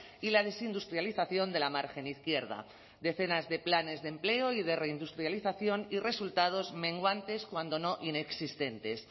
y la desindustrialización de la margen izquierda decenas de planes de empleo y de reindustrialización y resultados menguantes cuando no inexistentes